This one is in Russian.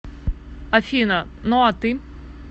афина ну а ты